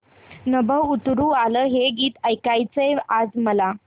नभं उतरू आलं हे गीत ऐकायचंय आज मला